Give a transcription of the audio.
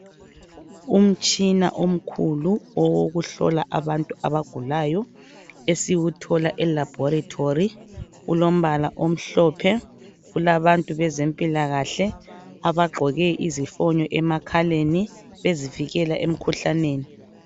Umtshina omkhulu wokuhlola abantu abagulayo esiwuthola elabhoritori ulombala omhlophe kulabantu bezempilakahle abagqoke izifonyo emakhaleni ezivekela emkhuhlaneni.